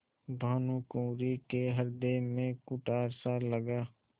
भानुकुँवरि के हृदय में कुठारसा लगा